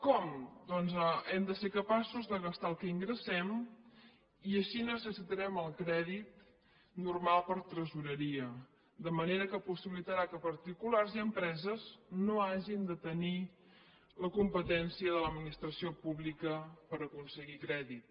com doncs hem de ser capaços de gastar el que ingressem i així necessitarem el crèdit normal per tresoreria de manera que possibilitarà que particulars i empreses no hagin de tenir la competència de l’administració pública per aconseguir crèdit